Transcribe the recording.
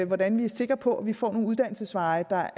hvordan vi er sikre på at vi får nogle uddannelsesveje der